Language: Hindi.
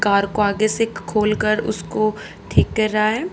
कार को आगे से ख खोलकर उसको ठीक कर रहा है।